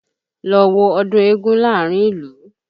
Lọ wo ọdún eégún láàrín ìlú!